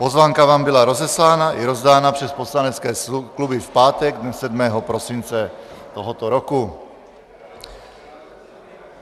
Pozvánka vám byla rozeslána i rozdána přes poslanecké kluby v pátek dne 7. prosince tohoto roku.